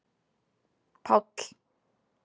Páll